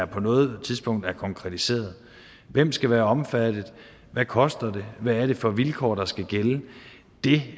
på noget tidspunkt har været konkretiseret hvem skal være omfattet hvad koster det hvad er det for vilkår der skal gælde det